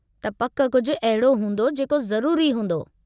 त पकि कुझु अहिड़ो हूंदो जेको ज़रूरी हूंदो।